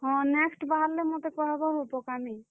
ହଁ, next ବାହାରଲେ ମତେ କହେବ ହୋ ପକାମି।